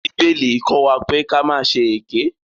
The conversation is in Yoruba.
Bíbélì kọ́ wa pé ka má ṣe èké.